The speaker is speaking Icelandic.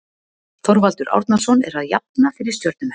Þorvaldur Árnason er að jafna fyrir stjörnumenn.